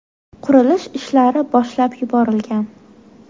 Qurilish ishlari boshlab yuborilgan.